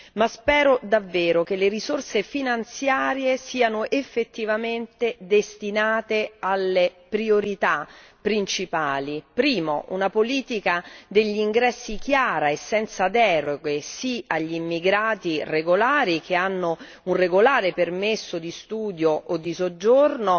Ma, spero davvero che le risorse finanziarie siano effettivamente destinate alle priorità principali. 1 Una politica degli ingressi chiara e senza deroghe. Sì agli immigrati regolari, che hanno un regolare permesso di studio o di soggiorno,